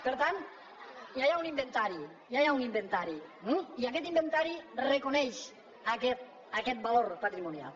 per tant ja hi ha un inventari ja hi ha un inventari eh i aquest inventari reconeix aquest valor patrimonial